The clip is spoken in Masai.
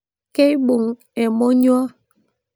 Keibung emonyua